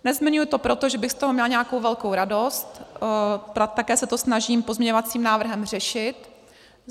Nezmiňuji to proto, že bych z toho měla nějakou velkou radost, také se to snažím pozměňovacím návrhem řešit.